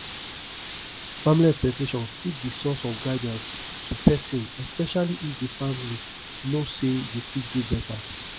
family expectation fit be source of guidance to person especially if di family know sey you fit do better